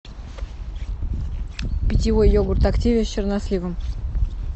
питьевой йогурт активия с черносливом